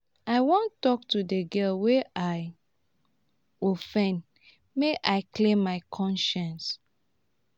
i wan tok to di girl wey i offendmake i clear my conscience.